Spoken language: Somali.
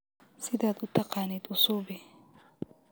Sidha utaqanid usuubix.